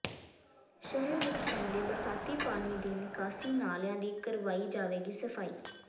ਸ਼ਹਿਰ ਵਿੱਚ ਪੈਂਦੇ ਬਰਸਾਤੀ ਪਾਣੀ ਦੇ ਨਿਕਾਸੀ ਨਾਲਿਆਂ ਦੀ ਕਰਵਾਈ ਜਾਵੇਗੀ ਸਫਾਈ